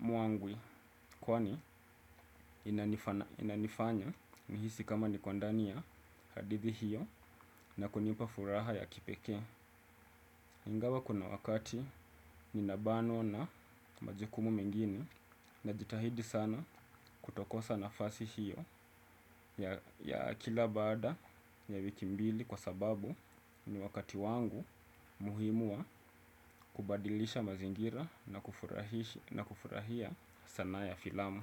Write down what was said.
mwangwi kwani inanifanya nihisi kama niko ndani ya hadithi hiyo na kunipa furaha ya kipekee. Ingawa kuna wakati ninabanwa na majukumu mengine najitahidi sana kutokosa nafasi hiyo. Ya kila baada ya wiki mbili kwa sababu ni wakati wangu muhimu wa kubadilisha mazingira na kufurahia sanaa ya filamu.